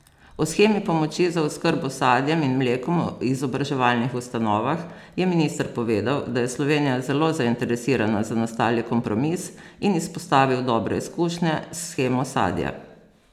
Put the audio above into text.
O shemi pomoči za oskrbo s sadjem in mlekom v izobraževalnih ustanovah je minister povedal, da je Slovenija zelo zainteresirana za nastali kompromis, in izpostavil dobre izkušnje s shemo sadja.